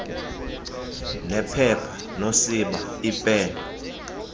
nephepha nosiba iipen